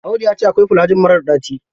Audu ya ce akwai filajil marar ɗaci.